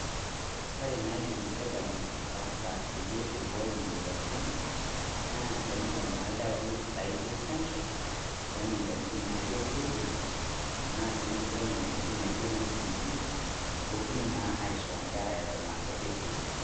Kore naidim sirkali ataasa peyie eibooyo moyarritin, naa teneyau naa eldewai naijo chaanjo le moyianitin naijo polio tana sii nkulika moyianitin naijo noo TB pootumi naa ashoo nkerra eton a nkutiti.